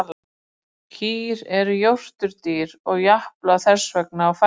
Kýr eru jórturdýr og japla þess vegna á fæðunni.